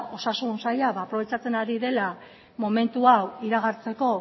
osasun saila aprobetxatzen ari dela momentu hau iragartzeko